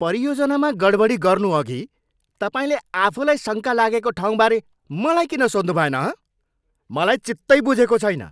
परियोजनामा गडबडी गर्नुअघि तपाईँले आफूलाई शङ्का लागेको ठाउँबारे मलाई किन सोध्नुभएन, हँ? मलाई चित्तै बुझेको छैन।